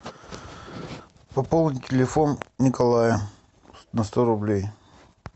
пополни телефон николая на сто рублей